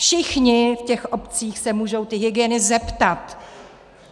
Všichni v těch obcích se můžou tý hygieny zeptat!